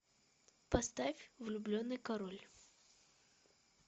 поставь влюбленный король